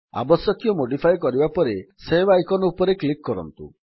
ଆବଶ୍ୟକୀୟ ମୋଡିଫିକେଶନ୍ କରିବା ପରେ ସେଭ୍ ଆଇକନ୍ ଉପରେ କ୍ଲିକ୍ କରନ୍ତୁ